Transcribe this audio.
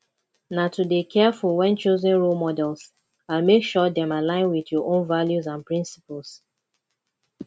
na to dey careful when choosing role models and make sure dem align with our own values and principles